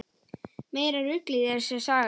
Meira ruglið þessi saga þín!